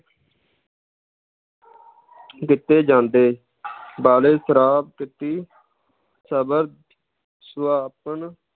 ਦਿੱਤੇ ਜਾਂਦੇ ਸਬਰ ਸੁਭਾਪਨ